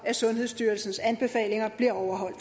at sundhedsstyrelsens anbefalinger bliver overholdt